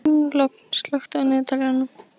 Lofn, slökktu á niðurteljaranum.